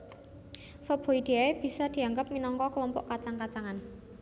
Faboideae bisa diangggep minangka klompok kacang kacangan